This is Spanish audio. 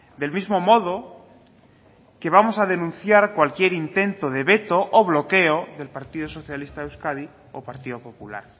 del mismo modo que vamos a denunciar cualquier intento de veto o bloqueo del partido socialista de euskadi o partido popular